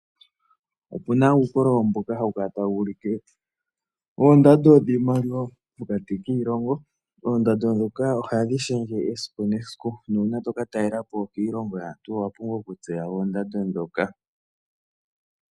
Opena uukololo mboka hawu kala tawu ulike oondando dhiimaliwa pokati kiilongo. Oomdando dhoka ohadhi shendje kehe esiku nuuna toka talelapo iilongo yaantu owapumbwa okutseya oondando dhoka.